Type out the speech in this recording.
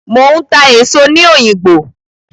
Mò ń ta èso ní òyìngbò.